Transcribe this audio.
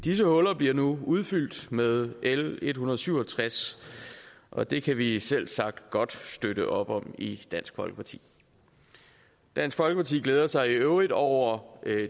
disse huller bliver nu udfyldt med l en hundrede og syv og tres og det kan vi selvsagt godt støtte op om i dansk folkeparti dansk folkeparti glæder sig i øvrigt over